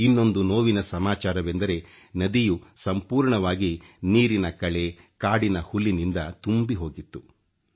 ಇನ್ನೊಂದು ನೋವಿನ ಸಮಾಚಾರವೆಂದರೆ ನದಿಯು ಸಂಪೂರ್ಣವಾಗಿ ನೀರಿನ ಕಳೆ ಕಾಡಿನ ಹುಲ್ಲಿನಿಂದ ತುಂಬಿಹೋಗಿತ್ತು